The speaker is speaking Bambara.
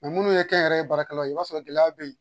munnu ye kɛ n yɛrɛ ye baarakɛla ye, i b'a sɔrɔ gɛlɛya be ye.